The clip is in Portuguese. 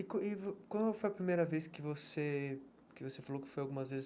E e qual foi a primeira vez que você que você falou que foi algumas vezes